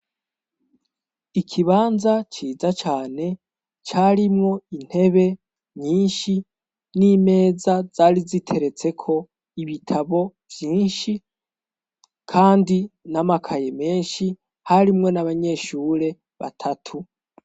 Ikibanza ciza cane carimwo intebe nyinshi n'imeza zari ziteretseko ibitabo vyinshi, kandi n'amakaye menshi harimwo n'abanyeshure batatu.